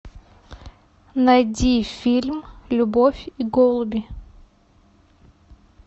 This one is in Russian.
найди фильм любовь и голуби